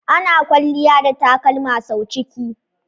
Ana kwalliya da takalma sau ciki.